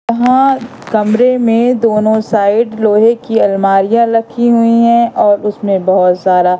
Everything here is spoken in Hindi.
यहां कमरे मे दोनों साइड लोहे की अलमारियां लखी हुई है और उसमें बहुत सारा--